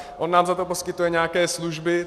On nám za to poskytuje nějaké služby.